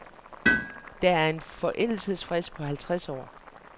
Der er en forældelsesfrist på halvtreds år.